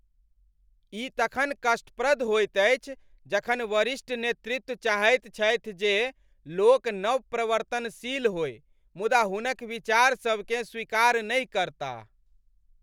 ई तखन कष्टप्रद होइत अछि जखन वरिष्ठ नेतृत्व चाहैत छथि जे लोक नवप्रवर्तनशील होय मुदा हुनक विचारसभकेँ स्वीकार नहि करताह।